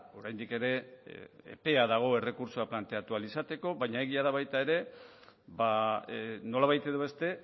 oraindik ere epea dago errekurtsoa planteatu ahal izateko baina egia da baita ere nolabait edo beste